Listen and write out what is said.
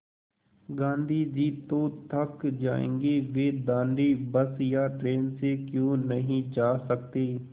गाँधी जी तो थक जायेंगे वे दाँडी बस या ट्रेन से क्यों नहीं जा सकते